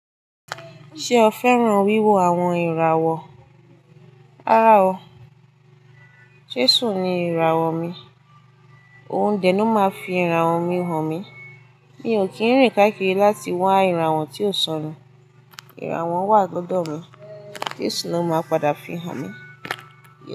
Ṣé o fẹ́ràn wíwo àwọn ìràwọ̀? Rárá o, Jesù ni ìràwọ̀ mi. Òun dèni máa fi ìràwọ̀ mi hàn mí. Mi ò kí n rìn káàkiri láti wá ìràwọ̀ tí ó sọnù. Iràwọ̀ wà lọ́dọ̀ mi. Jesù ló máa padà fi hàn mí.